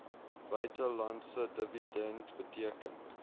buitelandse dividend beteken